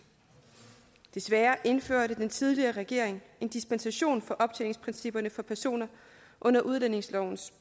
desværre indførte den tidligere regering en dispensation for optjeningsprincipperne for personer under udlændingelovens